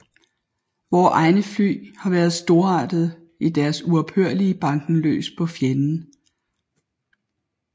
Vore egne fly har været storartede i deres uophørlige banken løs på fjenden